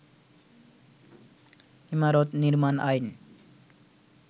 ইমারত নির্মাণ আইন